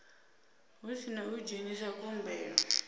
hu sina u dzhenisa khumbelo